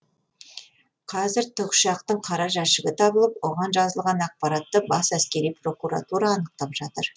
қазір тікұшақтың қара жәшігі табылып оған жазылған ақпаратты бас әскери прокуратура анықтап жатыр